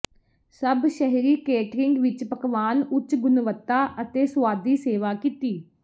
ਸਭ ਸ਼ਹਿਰੀ ਕੇਟਰਿੰਗ ਵਿਚ ਪਕਵਾਨ ਉੱਚ ਗੁਣਵੱਤਾ ਅਤੇ ਸੁਆਦੀ ਸੇਵਾ ਕੀਤੀ